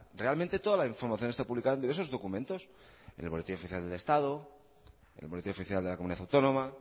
realmente toda la información está publicada en diversos documentos en el boletín oficial del estado en el boletín oficial de la comunidad autónoma